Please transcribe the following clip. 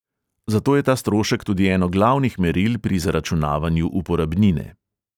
Zato je ta strošek tudi eno glavnih meril pri zaračunavanju uporabnine.